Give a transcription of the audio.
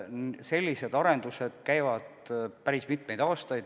Sellised arendused käivad päris mitu aastat.